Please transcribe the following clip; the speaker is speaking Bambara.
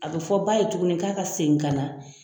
A bɛ fɔ ba ye tuguni k'a ka segin ka na